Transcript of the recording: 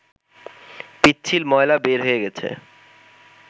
পিচ্ছিল ময়লা বের হয়ে গেছে